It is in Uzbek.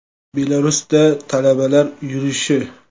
Belarusda talabalar yurishi.